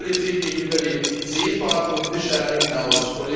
Die Meerespolitik geht über die Seefahrt und Fischerei hinaus.